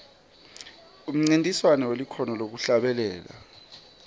umncintiswano welikhono lekuhlabelela